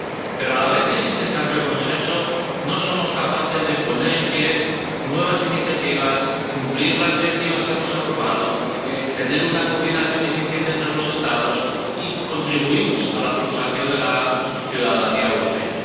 Pero a la vez que existe ese amplio consenso, no somos capaces de poner en pie nuevas iniciativas, de cumplir las directivas que hemos aprobado o de tener una coordinación eficiente entre los Estados, y contribuimos a la frustración de la ciudadanía europea.